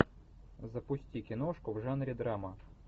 запусти киношку в жанре драма